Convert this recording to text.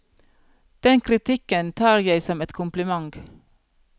Den kritikken tar jeg som et kompliment.